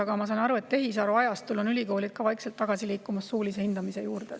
Aga ma saan aru, et tehisaruajastul on ülikoolid vaikselt tagasi liikumas suulise hindamise juurde.